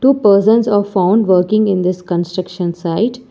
Two persons are found working in this construction site.